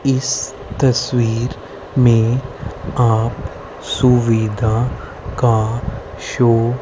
इस तस्वीर में आप सुविधा का शो --